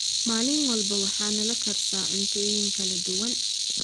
maalin walba waxa nala karsa cuntooyin kala duwan